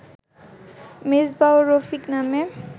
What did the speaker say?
মেজবা ও রফিক নামে